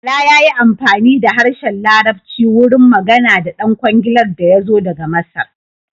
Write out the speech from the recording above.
Bala ya yi amfani da harshen larabci wurin magana da ɗan kwangilar da yazo daga Masar.